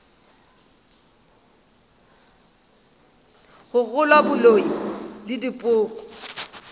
go kgolwa boloi le dipoko